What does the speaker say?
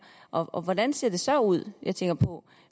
og hvordan ser det så ud jeg tænker på